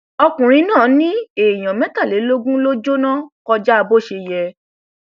ọkùnrin náà ni èèyàn mẹtàlélógún ló jóná kọjá bó ṣe yẹ